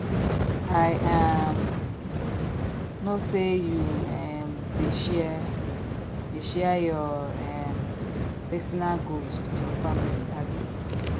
i um know say you um dey share dey share your um personal goals with your family abi